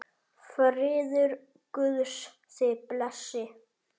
Friður Guðs þig blessi.